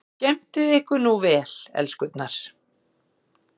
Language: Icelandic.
Og skemmtið ykkur nú vel, elskurnar!